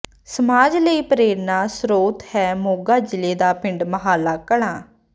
ਸਮਾਜ ਲਈ ਪੇ੍ਰਰਨਾ ਸਰੋਤ ਹੈ ਮੋਗਾ ਜ਼ਿਲ੍ਹੇ ਦਾ ਪਿੰਡ ਮਾਹਲਾ ਕਲਾਂ